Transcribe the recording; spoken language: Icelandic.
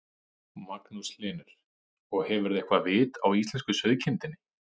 Magnús Hlynur: Og hefurðu eitthvað vit á íslensku sauðkindinni?